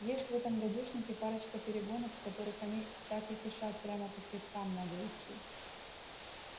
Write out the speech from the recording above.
есть в этом гадюшнике парочка перегонов в которых они так и кишат прямо по хребтам надо идти